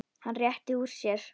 Hann rétti úr sér.